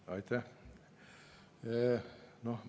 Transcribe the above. Aitäh!